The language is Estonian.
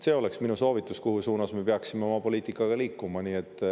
See oleks minu soovitus, mis suunas me peaksime oma poliitikaga liikuma.